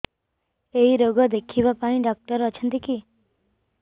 ଏଇ ରୋଗ ଦେଖିବା ପାଇଁ ଡ଼ାକ୍ତର ଅଛନ୍ତି କି